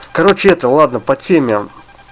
короче это ладно по теме